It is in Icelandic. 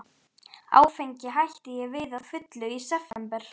Áfengi hætti ég við að fullu í september